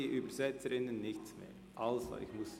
Die Übersetzerinnen hören sonst nichts.